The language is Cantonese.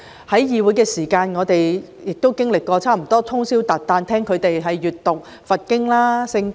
在會議廳內，我們曾通宵達旦聆聽他們閱讀佛經、《聖經》。